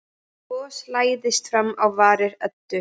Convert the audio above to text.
Bros læðist fram á varir Eddu.